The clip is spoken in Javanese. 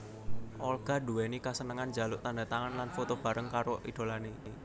Olga nduwéni kasenengan njaluk tandhatangan lan foto bareng karo idholané